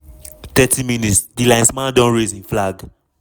30 mins- di linesman don raise im flag.